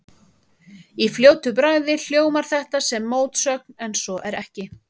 Í fljótu bragði hljómar þetta sem mótsögn en svo er ekki.